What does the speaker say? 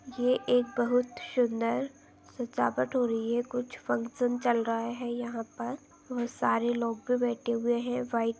ये एक बहुत सुंदर सजावट हो रही है कुछ फंक्शन चल रहा है यहाँ पर वह सारे लोग भी बैठे हुए है व्हाइट --